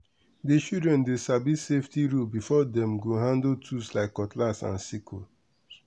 the children dey sabi safety rule before dem go handle tools like cutlass and sickles.